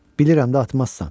Bilirəm də, atmazsan.